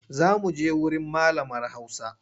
Za muje wurin malamar hausa.